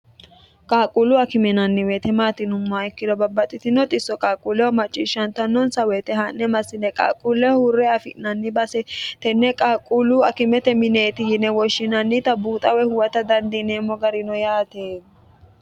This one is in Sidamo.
qaaqquullu akime yinanni weyete maati yinummoha ikkiro babbaxxitino xisso qaaqquulleho macciishshantannonsa woyite haa'ne massine qalquulle huurre afi'nanni base tenne qalqquullu akimete mineeti yine woshshinannita buuxawe huwata dandiineemmo garino yaate